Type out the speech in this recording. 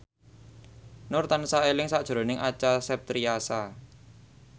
Nur tansah eling sakjroning Acha Septriasa